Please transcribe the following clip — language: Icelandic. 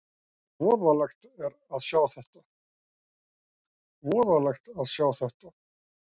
Voðalegt að sjá þetta!